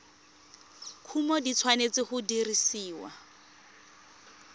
kumo di tshwanetse go dirisiwa